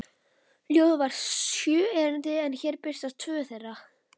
Ljóðið var sjö erindi en hér birtast tvö þeirra: